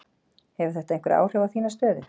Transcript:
Hefur þetta einhver áhrif á þína stöðu?